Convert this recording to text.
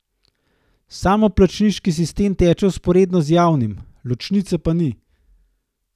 Samoplačniški sistem teče vzporedno z javnim, ločnice pa ni.